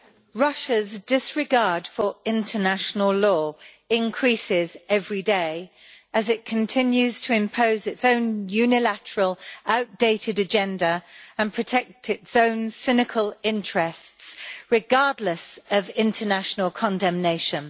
Mr President, Russia's disregard for international law increases every day as it continues to impose its own unilateral and outdated agenda and to protect its own cynical interests, regardless of international condemnation.